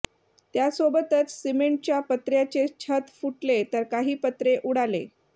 त्यासोबतच सिमेंटच्या पत्र्याचे छत फुटले तर काही पत्रे उडाले